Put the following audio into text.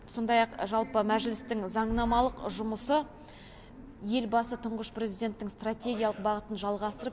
сондай ақ жалпы мәжілістің заңнамалық жұмысы елбасы тұңғыш президенттің стратегиялық бағытын жалғастырып